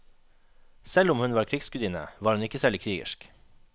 Selv om hun var en krigsgudinne var hun ikke særlig krigersk.